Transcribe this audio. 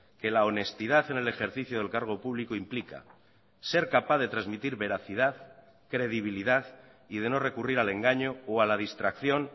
que la honestidad en el ejercicio del cargo público implica ser capaz de transmitir veracidad credibilidad y de no recurrir al engaño o a la distracción